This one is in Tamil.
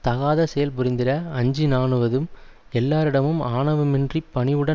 தகாத செயல் புரிந்திட அஞ்சி நாணுவதும் எல்லோரிடமும் ஆணவமின்றிப் பணிவுடன்